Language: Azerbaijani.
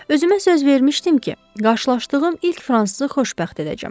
Özümə söz vermişdim ki, qarşılaşdığım ilk fransız xoşbəxt edəcəm.